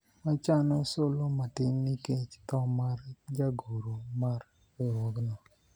wachano solo matin nikech tho mar jagoro mar riwruogno